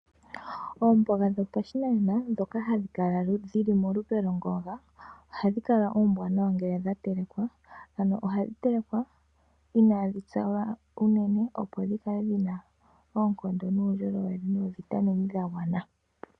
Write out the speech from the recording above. Oomboga dhopashinanena ndhoka hadhi kala dhili molupe lwongonga, ohadhu kala oombanawa ngele dhatelekwa. Ano ohadhi telekwa inaadhi tsa lela opo dhikale dhina oonkondo nuundjolowele noovitamine dhagwana.